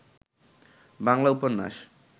বাংলা উপন্যাস